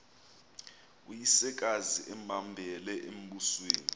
uyisekazi embambele embusweni